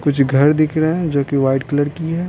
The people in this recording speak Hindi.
कुछ घर दिख रहे हैं जो कि वाइट कलर की है।